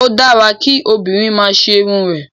O dára kí obìnrin máa ṣerun rẹ̀.